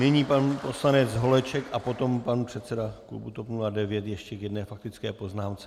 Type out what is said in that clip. Nyní pan poslanec Holeček a potom pan předseda klubu TOP 09 ještě k jedné faktické poznámce.